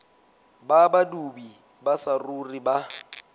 ba badudi ba saruri ba